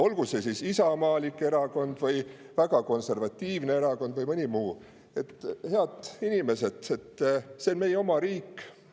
Olgu see isamaalik erakond või väga konservatiivne erakond või mõni muu – head inimesed, see on meie oma riik.